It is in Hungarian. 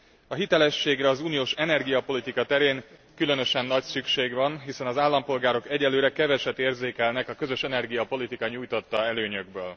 A hitelességre az uniós energiapolitika terén különösen nagy szükség van, hiszen az állampolgárok egyenlőre keveset érzékelnek a közös energiapolitika nyújtotta előnyökből.